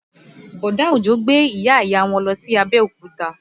Bọ̀dá Òjó gbé ìyá ìyá wọn lọ sí Abẹ́òkúta